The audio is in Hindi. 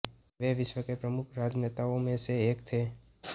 वे विश्व के प्रमुख राजनेताओं में से एक थे